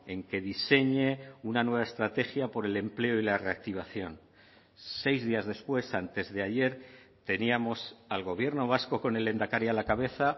en que diseñe una nueva estrategia por el empleo y la reactivación seis días después antesdeayer teníamos al gobierno vasco con el lehendakari a la cabeza